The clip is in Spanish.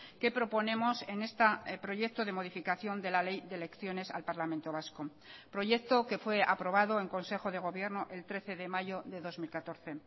que proponemos en este proyecto de modificación de la ley de elecciones al parlamento vasco proyecto que fue aprobado en consejo de gobierno el trece de mayo de dos mil catorce